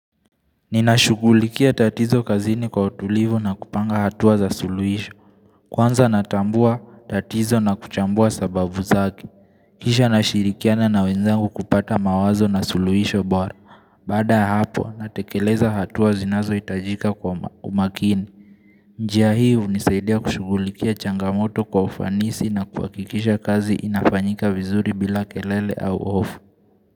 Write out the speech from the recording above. Ninashughulikia tatizo kazini kwa utulivu na kupanga hatua za suluisho. Kwanza natambua tatizo na kuchambua sababu zake. Kisha nashirikiana na wenzangu kupata mawazo na suluisho bora. Baada ya hapo, natekeleza hatua zinazoitajika kwa umakini. Njia hii hunisaidia kushughulikia changamoto kwa ufanisi na kuhakikisha kazi inafanyika vizuri bila kelele au ofu.